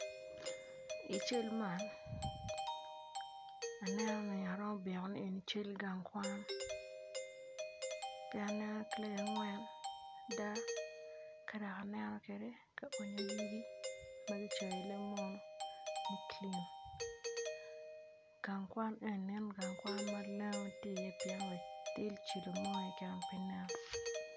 I cal ma aneno ni man gang kwan pien aneno kilaci angwen ki ka onyo yugi ma kicoyo ni clean gang kwan man lengo tye iye pien cilo mo pe nen iye.